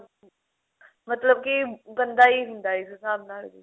ਮਤਲਬ ਕੀ ਗੰਦਾ ਹੀ ਹੁੰਦਾ ਏ ਇਸ ਸਾਬ ਨਾਲ